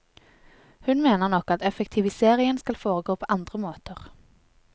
Hun mener nok at effektiviseringen skal foregå på andre måter.